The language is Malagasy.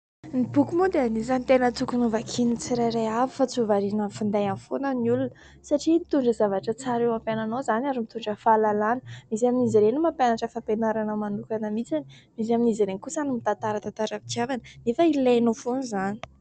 Ny boky moa dia anisany tena tokony ho vakian'ny tsirairay avy fa tsy ho variana amin'ny findainy foana ny olona satria mitondra zavatra tsara eo amin'ny fiananao izany ary mitondra fahalalana. Misy amin'izy ireny no mampianatra fampianarana manokana mihitsy, misy amin'izy ireny kosa no mitantara tantaram-pitiavana nefa ilainao foana izany.